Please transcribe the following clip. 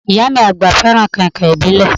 Ìyá mí agba fẹràn kàìnkàìn ìbílẹ̀.